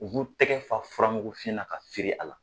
U b'u tɛgɛ fa fura mugu fin na ka firin a la.